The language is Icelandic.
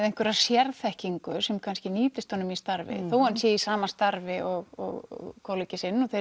einhverja sérþekkingu sem nýtist í starfi þó hann sé í sama starfi og kollegi sinn